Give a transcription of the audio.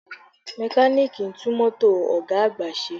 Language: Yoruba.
Mẹkáníìkì ń tún mọ́tò ọ̀ga àgbà ṣe